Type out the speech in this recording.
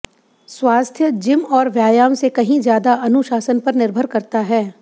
स्वास्थ्य जिम और व्यायाम से कहीं ज्यादा अनुशासन पर निर्भर करता है